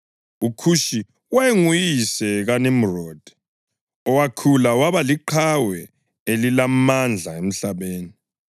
UKhushi wayenguyise kaNimrodi, owakhula waba liqhawe elilamandla emhlabeni.